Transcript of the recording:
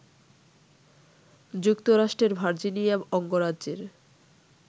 যুক্তরাষ্ট্রের ভার্জিনিয়া অঙ্গরাজ্যের